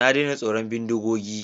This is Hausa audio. Na daina tsoron bindigogi.